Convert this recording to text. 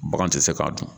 Bagan tɛ se k'a dun